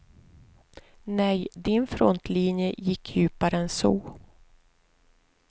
Nej, din frontlinje gick djupare än så.